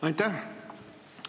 Aitäh!